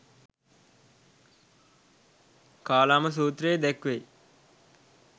කාලාම සූත්‍රයේ දැක්වෙයි.